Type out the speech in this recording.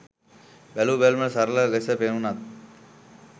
බැලූ බැල්මට සරල ලෙස පෙනුනත්